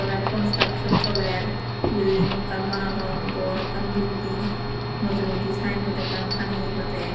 te construction soler bilding ekkan banadon bor ekkan bilding mujungedi sayenbod ekkan tangeye badey.